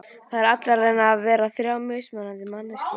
Það eru allir að reyna að vera þrjár mismunandi manneskjur.